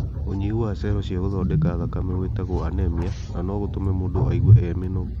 ũnyihu wa cero cia gũthondeka thakame gwĩtagwo anemia, na nogũtume mũndũ aigue e mũnogu.